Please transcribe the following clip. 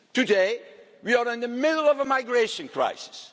Today we are in the middle of a migration